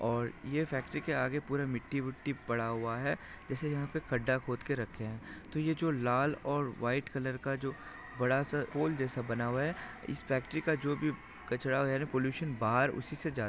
और ये फैक्ट्री के आगे पूरा मिट्टी बुट्टी पड़ा हुआ है जैसे यहाँ पर खड्डा खोद के रखे हैं तो ये जो लाल और व्हाइट कलर का जो बड़ा सा पोल जैसा बना हुआ है इस फैक्ट्री का जो भी कचरा एयर पलूशन बाहर उसी से जा--